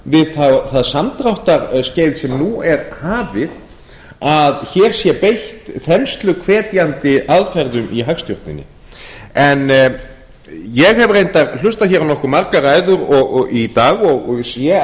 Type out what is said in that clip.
við það samdráttarskeið sem nú er hafið að hér sé beitt þensluhvetjandi aðferðum í hagstjórninni en ég hef reyndar hlustað hér á nokkuð margar ræður í dag og sé